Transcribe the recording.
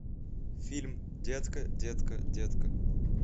фильм детка детка детка